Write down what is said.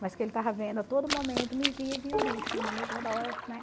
Mas que ele estava vendo a todo momento, me via e via o bicho na